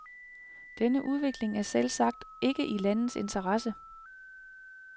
Denne udvikling er selvsagt ikke i landets interesse.